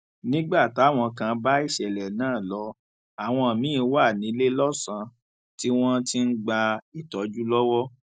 nígbà táwọn kan bá ìṣẹlẹ náà lọ àwọn miín wà níléelọsàn tí wọn ti ń gba ìtọjú lọwọ